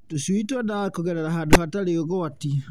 Tũcui twendaga kũgerera handũ hatarĩ ũgwati.